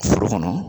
Foro kɔnɔ